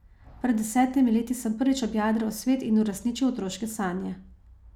Pred desetimi leti sem prvič objadral svet in uresničil otroške sanje.